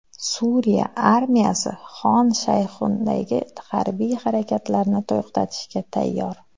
Suriya armiyasi Xon Shayxundagi harbiy harakatlarni to‘xtatishga tayyor.